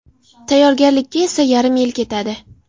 Tayyorgarlikka esa yarim yil ketadi.